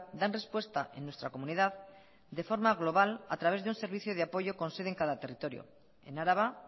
dan respuesta en nuestra comunidad de forma global a través de un servicio de apoyo con sede en cada territorio en araba